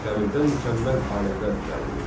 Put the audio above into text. Dəmirdən mükəmməl alətlər düzəldilirdi.